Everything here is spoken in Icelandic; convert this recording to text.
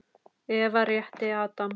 Eva rétti Adam.